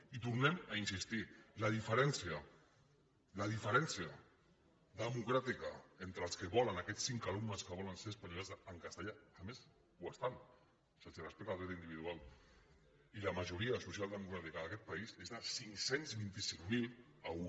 i hi tornem a insistir la diferència democràtica entre el que volen aquests cinc alumnes que volen ser escolaritzats en castellà a més ho estan se’ls respecta el dret individual i la majoria social democràtica d’aquest país és de cinc cents i vint cinc mil a un